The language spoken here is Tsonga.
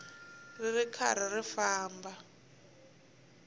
ri ri karhi ri famba